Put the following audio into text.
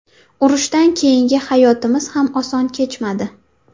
Urushdan keyingi hayotimiz ham oson kechmadi.